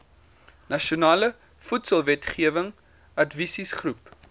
nasionale voedselwetgewing adviesgroep